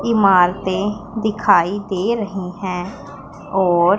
इमारतें दिखाई दे रही हैं और --